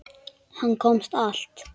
Hann komst allt.